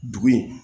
Dugu in